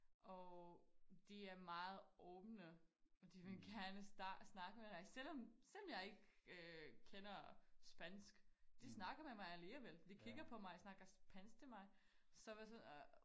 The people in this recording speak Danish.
Og de er meget åbne og de vil gerne snakke med dig selvom selvom jeg ikke kender spansk de snakker med mig alligevel de kigger på mig snakker spansk til mig